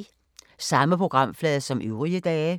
Samme programflade som øvrige dage